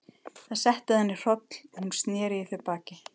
Það setti að henni hroll og hún sneri í þau baki.